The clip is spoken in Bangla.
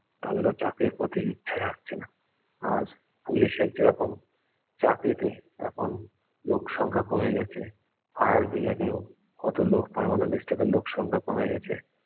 তাদের ও চাকরির প্রতি ইচ্ছা জাগছে না আর ইংলিশে যেরকম চাকরিতে এখন লোকসংখ্যা কমে গেছে fire brigade এ ও কত লোক permanent staff এর লোকসংখ্যা কমে গেছে